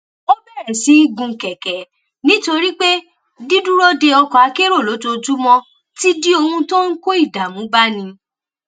ó bèrè sí gun kèké nítorí pé dídúró de ọkọ akérò lójoojúmó ti di ohun tó ń kó ìdààmú báni